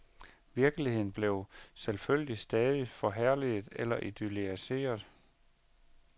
Virkeligheden blev selvfølgelig stadig forherliget eller idylliseret.